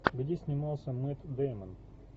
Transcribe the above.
где снимался мэтт дэймон